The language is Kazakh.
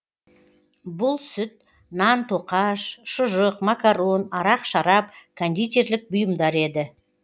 бұл сүт нан тоқаш шұжық макарон арақ шарап кондитерлік бұйымдар еді